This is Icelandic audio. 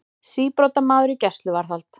Síbrotamaður í gæsluvarðhald